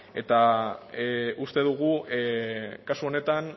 eta uste dugu kasu honetan